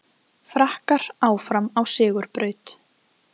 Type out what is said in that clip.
Frakkar áfram á sigurbraut